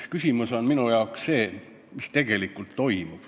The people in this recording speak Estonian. Küsimus on minu jaoks see, mis tegelikult toimub.